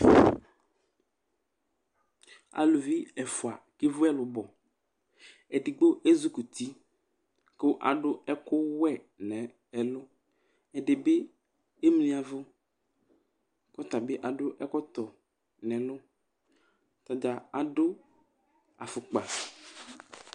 Aluvi ɛfua kevu ɛlubɔ, edigbo ezukuti ku adu ɛku wɛ n'ɛlu ɛdi bi emli yavu ku ɔta bi adu ɛkɔtɔ nu ɛlu, ata dza adu afukpa